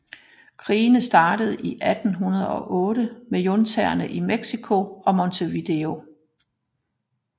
Krigene startede i 1808 med juntaerne i México og Montevideo